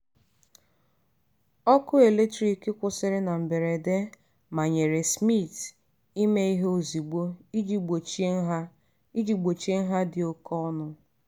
ọkụ eletrik kwụsịrị na mberede manyere smith ime ihe ozugbo iji gbochie nha iji gbochie nha dị oke ọnụ.